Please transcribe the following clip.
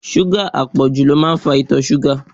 Súgà àpọ̀jù ló ń fa ìtọ̀ ṣúgà.